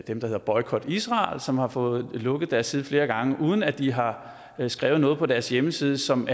dem der hedder boykot israel som har fået lukket deres side flere gange uden at de har skrevet noget på deres hjemmeside som